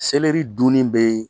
Selɛri dun bɛ